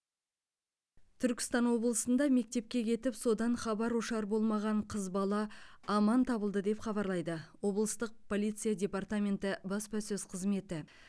түркістан облысында мектепке кетіп содан хабар ошар болмаған қыз бала аман табылды деп хабарлайды облыстық полиция департаменті баспасөз қызметі